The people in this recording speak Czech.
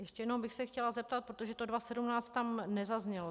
Ještě jednou bych se chtěla zeptat, protože to 2017 tam nezaznělo.